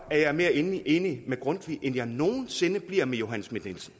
at jeg er mere enig enig med grundtvig end jeg nogen sinde bliver med johanne schmidt nielsen